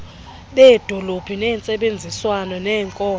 beedolophu ngentsebenziswano nenkonzo